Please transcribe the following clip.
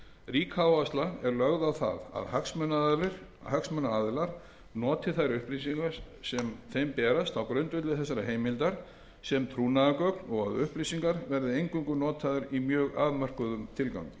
rík áhersla er lögð á það að hagsmunaaðilar noti þær upplýsingar sem þeim berast á grundvelli þessarar heimildar sem trúnaðargögn og að upplýsingarnar verði eingöngu notaðar í mjög afmörkuðum tilgangi